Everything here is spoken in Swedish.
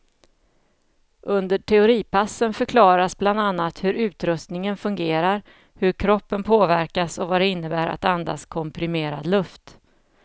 Under teoripassen förklaras bland annat hur utrustningen fungerar, hur kroppen påverkas och vad det innebär att andas komprimerad luft.